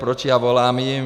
Proč já volám jim?